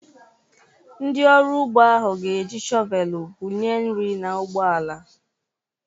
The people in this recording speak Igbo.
Ndị ọrụ ugbo ahụ ga-eji shọvelụ bu nye nri na ugbo ala.